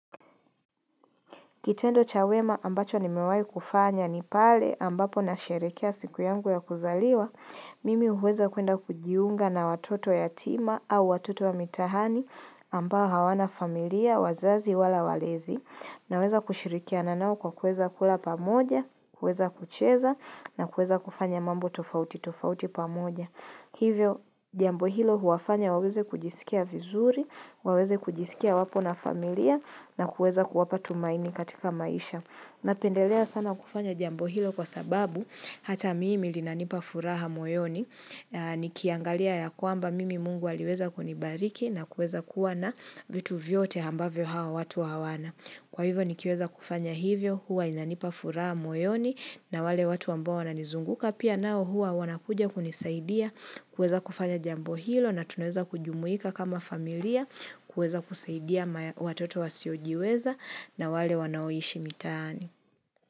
Kitendo cha wema ambacho nimewai kufanya ni pale ambapo nasherehekea siku yangu ya kuzaliwa, mimi huweza kuenda kujiunga na watoto yatuma au watoto wa mitaani ambao hawana familia wazazi wala walezi naweza kushirikia nao kwa kuweza kula pamoja, kuweza kucheza na kuweza kufanya mambo tofauti tofauti pamoja. Hivyo jambo hilo huwafanya waweze kujisikia vizuri, waweze kujisikia wapo na familia na kuweza kuwapa tumaini katika maisha. Napendelea sana kufanya jambo hilo kwa sababu hata mimi linanipa furaha moyoni. Nikiangalia ya kwamba mimi mungu aliweza kunibariki na kuweza kuwa na vitu vyote ambavyo hawa watu hawana. Kwa hivyo nikiweza kufanya hivyo, huwa inanipa furaha moyoni na wale watu ambao wananizunguka pia nao huwa wanakuja kunisaidia, kuweza kufanya jambo hilo na tunaweza kujumuika kama familia, kuweza kusaidia watoto wasiojiweza na wale wanaoishi mitaani.